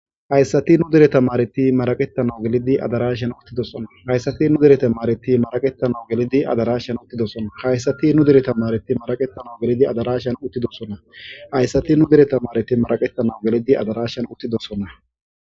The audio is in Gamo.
Hayssati nu dereta maareti maraqettanao gelidi adarashan uttidosona hayssati nu dereta maareti maraqetanau gelidi adarashan uttidosona haysati nu dereta maareti maraqetanau gelidi adarashan uttidosona hayssati nu dereta maareti maraqettanau gelidi adarashan uttidosona.